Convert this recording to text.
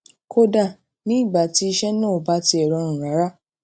kódà nígbà tí iṣẹ́ náà ò bá tiè rọrùn rárá